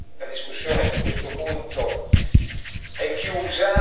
La discussione su questo punto è chiusa.